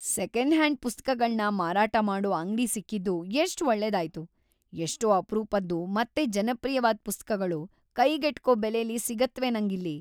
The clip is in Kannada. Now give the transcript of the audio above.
ಸೆಕೆಂಡ್‌-ಹ್ಯಾಂಡ್ ಪುಸ್ತಕಗಳ್ನ ಮಾರಾಟ ಮಾಡೋ ಅಂಗ್ಡಿ‌ ಸಿಕ್ಕಿದ್ದು ಎಷ್ಟ್‌ ಒಳ್ಳೇದಾಯ್ತು! ಎಷ್ಟೋ ಅಪರೂಪದ್ದು ಮತ್ತೆ ಜನಪ್ರಿಯವಾದ್ ಪುಸ್ತಕಗಳು ಕೈಗೆಟ್ಕೋ ಬೆಲೆಲಿ ಸಿಗತ್ವೆ ನಂಗಿಲ್ಲಿ.